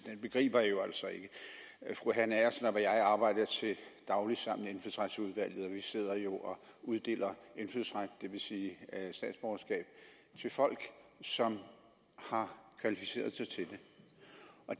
begriber jeg jo altså ikke fru hanne agersnap og jeg arbejder til daglig sammen i indfødsretsudvalget og vi sidder jo og uddeler indfødsret det vil sige statsborgerskab til folk som har kvalificeret sig til det